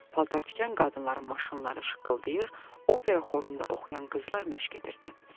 Paltartikən qadınların maşınları şaqqıldayırdı, opera xorunda oxuyan qızlar məşq edirdi.